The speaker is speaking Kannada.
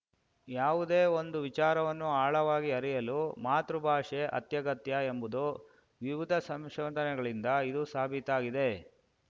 ಯಾವುದೇ ಒಂದು ವಿಚಾರವನ್ನು ಆಳವಾಗಿ ಅರಿಯಲು ಮಾತೃಭಾಷೆ ಅತ್ಯಗತ್ಯ ಎಂಬುದು ವಿವಿಧ ಸಂಶೋಧನೆಗಳಿಂದ ಇದು ಸಾಬೀತಾಗಿದೆ